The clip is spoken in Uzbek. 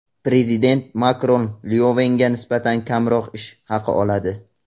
Prezident Makron Lyovenga nisbatan kamroq ish haqi oladi.